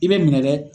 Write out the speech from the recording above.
I bɛ minɛ dɛ